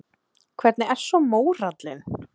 Kristján: Hvernig er svo mórallinn?